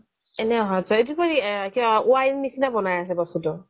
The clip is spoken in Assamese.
এনেই অহা যোৱা এইটো বোলে কিবা y নিচিনা বনাই আছে বস্তুটো